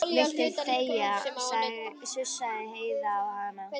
Viltu þegja, sussaði Heiða á hana.